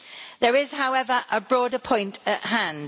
There is, however, a broader point at hand.